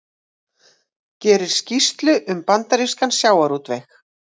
Gerir skýrslu um bandarískan sjávarútveg